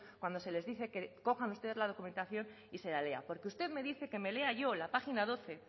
cuando se les dice que cojan ustedes la documentación y se la lea porque usted me dice que me lea yo la página doce